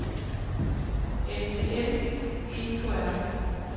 NCM EKR